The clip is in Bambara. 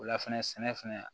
O la fɛnɛ sɛnɛ fɛnɛ